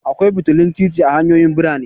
Akwai fitilun titi a hanyoyin birane.